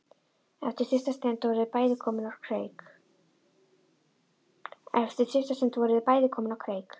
Eftir stutta stund voru þau bæði komin á kreik.